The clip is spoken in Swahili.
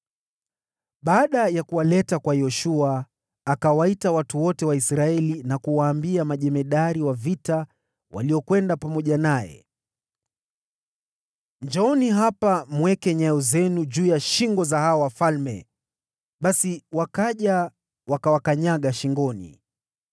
Walipokuwa wamewaleta hawa wafalme kwa Yoshua, akawaita watu wote wa Israeli, na kuwaambia majemadari wa vita waliokwenda pamoja naye, “Njooni hapa mweke nyayo zenu juu ya shingo za hawa wafalme.” Basi wakaja wakaweka nyayo zao shingoni.